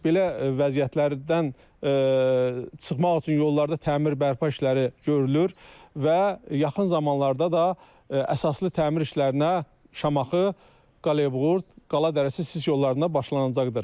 Belə vəziyyətlərdən çıxmaq üçün yollarda təmir-bərpa işləri görülür və yaxın zamanlarda da əsaslı təmir işlərinə Şamaxı, Qaleybuğurd, Qala Dərəsi, Sis yollarına başlanacaqdır.